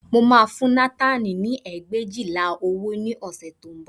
Mo máa fún Nátánì ní ẹgbẹ̀éjìlá owó ní ọ̀sẹ̀ tí ó ń bọ̀